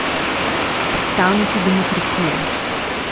Predstavniki demokracije ...